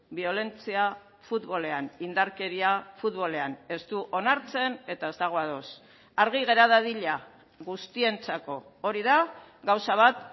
biolentzia futbolean indarkeria futbolean ez du onartzen eta ez dago ados argi gera dadila guztientzako hori da gauza bat